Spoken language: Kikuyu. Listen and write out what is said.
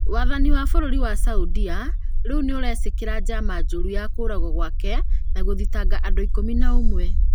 Wathani wa bũrũri wa Saudia rĩu nĩũrecukĩra njama njũru ya kũragwo gwake na gũthitanga andũ ikumi na ũmwe